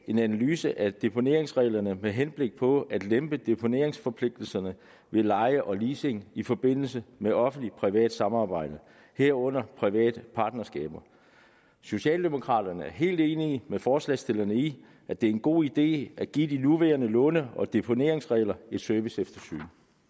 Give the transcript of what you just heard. en analyse af deponeringsreglerne med henblik på at lempe deponeringsforpligtelserne ved leje og leasing i forbindelse med offentlig privat samarbejde herunder private partnerskaber socialdemokraterne er helt enige med forslagsstillerne i at det er en god idé at give de nuværende låne og deponeringsregler et serviceeftersyn